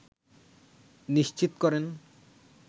নিশ্চিত করেন